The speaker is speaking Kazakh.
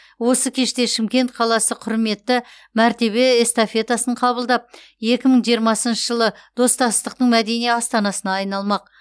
осы кеште шымкент қаласы құрметті мәртебе эстафетасын қабылдап екі мың жиырмасыншы жылы достастықтың мәдени астанасына айналмақ